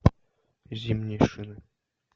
зимние шины